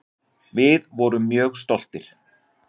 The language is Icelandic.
Við vorum mjög stoltir.